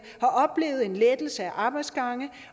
har oplevet en lettelse af arbejdsgange